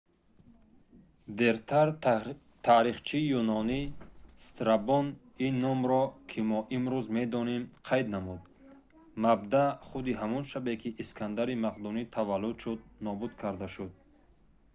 дертар таърихчии юнонӣ страбон ин номро ки мо имрӯз медонем қайд намуд мабдаъ худи ҳамон шабе ки искандари мақдунӣ таваллуд шуд нобуд карда шуд